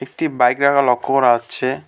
একটি বাইক রাখা লক্ষ্য করা আচ্ছে।